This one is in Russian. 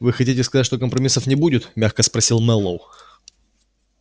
вы хотите сказать что компромиссов не будет мягко спросил мэллоу